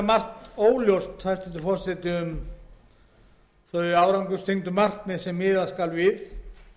margt óljóst um þau árangurstengdu markmið sem miða skal við